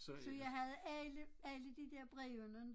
Så jeg havde alle alle de der brevene